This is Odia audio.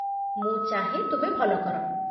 ମୁଁ ଚାହେଁ ତୁମେ ଭଲ କର।